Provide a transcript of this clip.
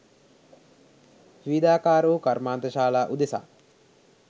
විවිධාකාර වූ කර්මාන්තශාලා උදෙසා